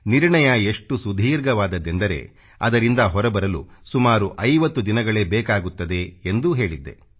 ನಿರ್ಣಯ ಎಷ್ಟು ಸುದೀರ್ಘವಾದದ್ದೆಂದರೆ ಅದರಿಂದ ಹೊರಬರಲು ಸುಮಾರು 50 ದಿನಗಳೇ ಬೇಕಾಗುತ್ತದೆ ಎಂದೂ ಹೇಳಿದ್ದೆ